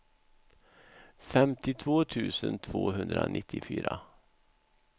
femtiotvå tusen tvåhundranittiofyra